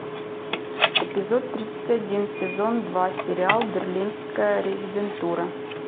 эпизод тридцать один сезон два сериал берлинская резидентура